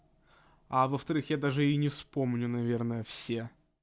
а во-вторых я даже и не вспомню наверное всех